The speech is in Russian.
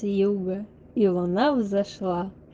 с юга и луна взошла